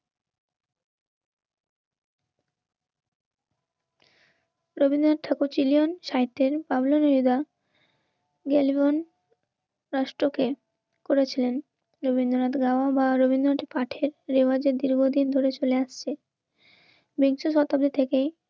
রবীন্দ্রনাথ ঠাকুর চিলিয়ন সাহিত্যের বাবলু নীলা. গেলি বন রাষ্ট্রকে. করেছিলেন রবীন্দ্রনাথ, রামা বা রবীন্দ্রনাথ পাঠের রেওয়াজের দীর্ঘদিন ধরে চলে আসছে. বিংশ শতাব্দী থেকেই